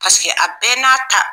Paseke a bɛɛ n'a ta.